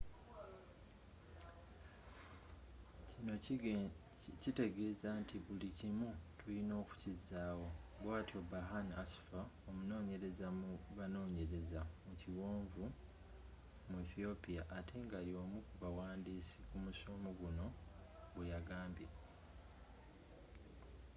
kino kiteegeza nti buli kimu tulina okukizaawo bwatyo berhane asfaw omunonyereza mu banonyerezi mu kiwonvu mu ethiopia ate nga yomukubawandiisi kumusomo guno bweyagambye